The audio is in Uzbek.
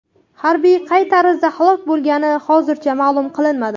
Harbiy qay tarzda halok bo‘lgani hozircha ma’lum qilinmadi.